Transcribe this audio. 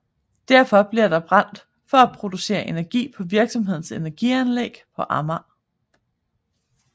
Derfor bliver det brændt for at producere energi på virksomhedens energianlæg på Amager